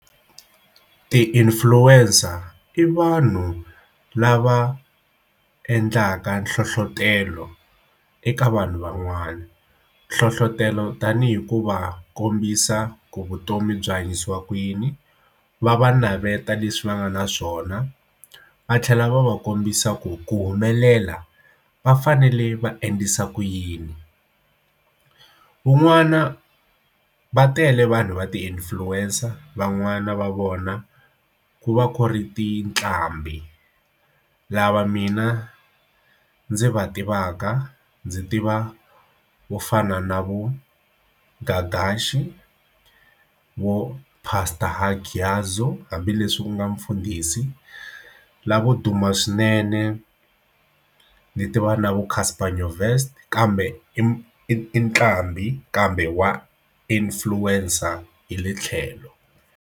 Ti-influencer i vanhu lava endlaka nhlohlotelo eka vanhu van'wana nhlohlotelo tanihi ku va kombisa ku vutomi byi hanyisiwa ku yini va va navetisa leswi va nga na swona va tlhela va va kombisa ku ku humelela va fanele va endlisa ku yini van'wana va tele vanhu va ti-influencer van'wana va vona ku va ku ri ti ntlambhi lava mina ndzi va tivaka ndzi tiva vo fana na vu Gagashi vo pastor Hangiyashu hambileswi ku nga mfundhisi lavo duma swinene leti va na vu Casper Nyoverst kambe i nqambi kambe wa influencer hi le tlhelo.